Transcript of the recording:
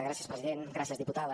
gràcies president gràcies diputada